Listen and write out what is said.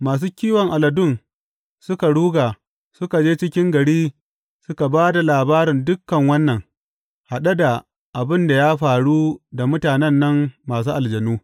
Masu kiwon aladun suka ruga, suka je cikin gari suka ba da labarin dukan wannan, haɗe da abin da ya faru da mutanen nan masu aljanu.